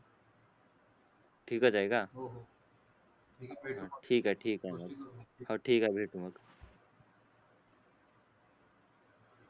ठीकच आहे का हो हो भेटू मग ठीक आहे ठीक आहे गोष्टी करू मग हा ठीक आहे भेटू मग